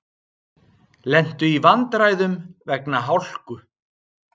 Lentu í vandræðum vegna hálku